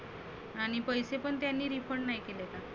आणि पैसे पण त्यांनी refund नाही केले का?